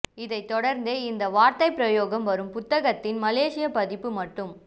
இதனைத் தொடர்ந்தே இந்த வார்த்தைப் பிரயோகம் வரும் புத்தகத்தின் மலேசியப் பதிப்பு மட்டும்